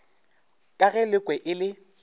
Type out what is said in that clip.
ka ge lekwe e le